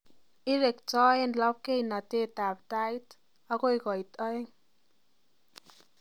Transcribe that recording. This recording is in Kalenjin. Irektoen labkeinatetab tait agoi koit aeng